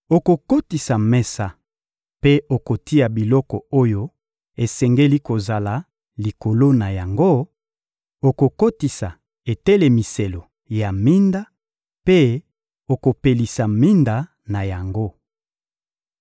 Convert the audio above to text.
Okokotisa mesa mpe okotia biloko oyo esengeli kozala likolo na yango; okokotisa etelemiselo ya minda mpe okopelisa minda na yango.